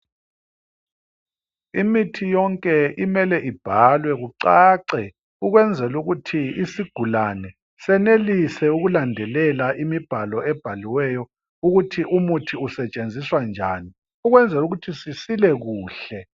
Imithi yonke imele ibhalwe kucace, ukwenzela ukuthi isigulane senelise ukulandelela imibhalo ebhaliweyo ukuthi umuthi usetshenziswa njani ukwenzela ukuthi sisile kuhle.